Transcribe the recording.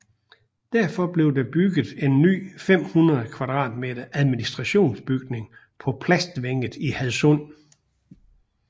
Derfor blev der bygget en ny 500 m2 administrationsbygning på Plastvænget i Hadsund